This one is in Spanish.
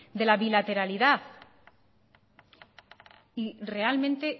de la bilateralidad y realmente